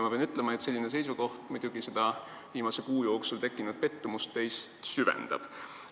Ma pean ütlema, et selline seisukoht seda viimase kuu jooksul tekkinud pettumust teis süvendab.